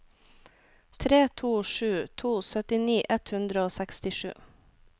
tre to sju to syttini ett hundre og sekstisju